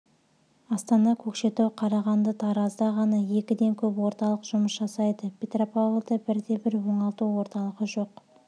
астана көкшетау қарағанды таразда ғана екіден көп орталық жұмыс жасайды петропавлда бірде-бір оңалту орталығы жоқ